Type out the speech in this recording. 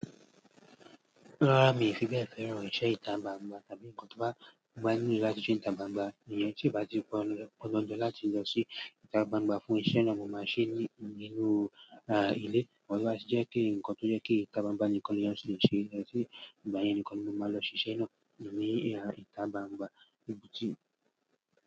Rárá, mi ò fi bẹ́ẹ̀ fẹ́ràn irinṣẹ́ ìta gbangba tàbí nǹkan tó bá gbé ní inú ilé láti ṣe ìta gbangba. Ènìyàn tí ì bá ti pé ọlọ̀dọ̀ láti lọ ṣe ìta gbangba fún iṣẹ́ náà, mo máa ṣe ní inú ilé. But tó bá tí jẹ pé nǹkan tó jẹ́ kí ìta gbangba nìkan ni èyán tí le ṣe ní èyán tí lè, ìgbà yẹ nìkan ni mo máa lọ ṣe iṣẹ́ náà ní ìta gbangba ibùji.